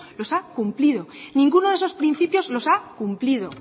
los ha cumplido ninguno de esos principios los ha cumplido